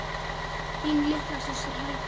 Þín litla systir, Helga.